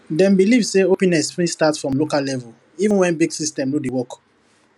dem believe say openess fit start for local level even when big system no dey work